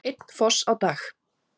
Einn foss á dag